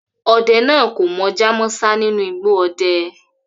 Ode naa ko Mojá mósá ninu igbo ode